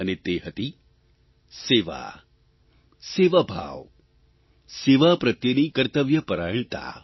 અને તે હતી સેવા સેવાભાવ સેવા પ્રત્યેની કર્તવ્યપરાયણતા